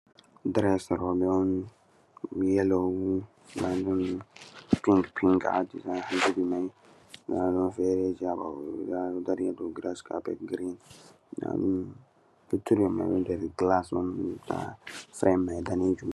"Diress" roɓe on yelo ndaɗum pink pink ha zubi mai ɗo dari ha dou giras kapet girin luttuɗum mai nder gilas